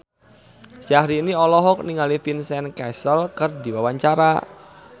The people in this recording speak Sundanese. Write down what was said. Syahrini olohok ningali Vincent Cassel keur diwawancara